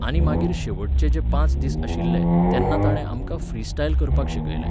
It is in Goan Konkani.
आनी मागीर शेवटचे जे पांच दीस आशिल्ले, तेन्ना ताणें आमकां फ्री स्टायल करपाक शिकयलें